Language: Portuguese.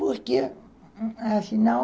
Porque, afinal...